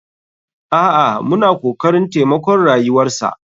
A'a muna kokarin taimakon rayuwarsa.